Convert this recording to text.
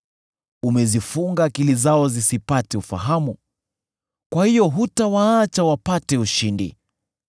Umezifunga akili zao zisipate ufahamu, kwa hiyo hutawaacha wapate ushindi.